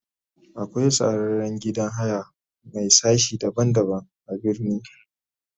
akwai sarraren gidan haya Mai sashi daban daban a birni.